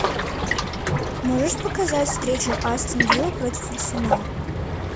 можешь показать встречу астон вилла против арсенала